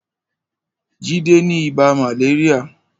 Jide ni ibà màléríà